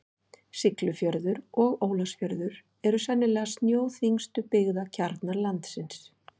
Siglufjörður og Ólafsfjörður eru sennilega snjóþyngstu byggðakjarnar landsins.